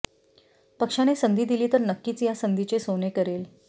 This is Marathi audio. पक्षाने संधी दिली तर नक्कीच या संधीचे सोने करेल